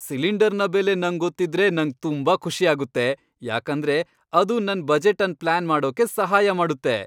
ಸಿಲಿಂಡರ್ನ ಬೆಲೆ ನಂಗ್ ಗೊತ್ತಿದ್ರೆ ನಂಗ್ ತುಂಬಾ ಖುಷಿಯಾಗುತ್ತೆ ಯಾಕಂದ್ರೆ ಅದು ನನ್ ಬಜೆಟ್ ಅನ್ ಪ್ಲಾನ್ ಮಾಡೋಕೆ ಸಹಾಯ ಮಾಡುತ್ತೆ.